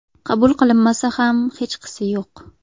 Qabul qilinmasa ham hechqisi yo‘q.